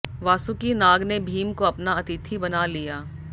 वासुकि नाग ने भीम को अपना अतिथि बना लिया